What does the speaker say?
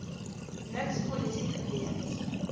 niks polisie gewees